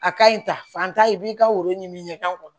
A ka ɲi ta fan ta i b'i ka woro ɲini k'a kɔnɔ